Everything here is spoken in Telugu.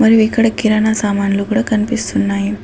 ఇవి ఇక్కడ కిరణా సామాన్లు కూడా కనిపిస్తున్నాయి.